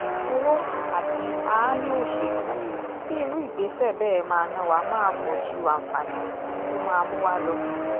owó àti aáyán òṣèlú tí irú ìgbésẹ̀ bẹ́ẹ̀ máa ná wa máa pọ̀ ju àǹfààní tó máa mú wa lọ